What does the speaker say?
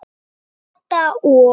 Kata og